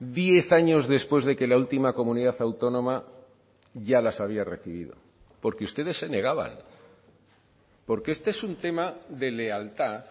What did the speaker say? diez años después de que la última comunidad autónoma ya las había recibido porque ustedes se negaban porque este es un tema de lealtad